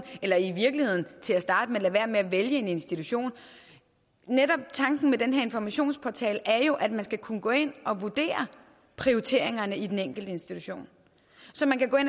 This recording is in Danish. eller i virkeligheden til at starte med lade være med at vælge en institution tanken med den her informationsportal er jo at man skal kunne gå ind og vurdere prioriteringerne i den enkelte institution så man kan gå ind